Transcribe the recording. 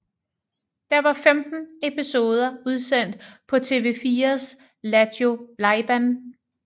Der var 15 episoder udsendt på TV4s Lattjo Lajban